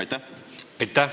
Aitäh!